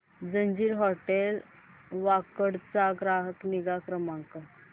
ginger hotel Wakad चा ग्राहक निगा नंबर